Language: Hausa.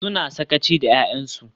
Suna sakaci da 'ya'yansu.